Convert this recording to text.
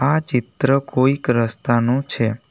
આ ચિત્ર કોઈક રસ્તાનો છે.